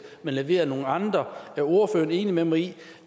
men leveret af nogle andre er ordføreren enig med mig i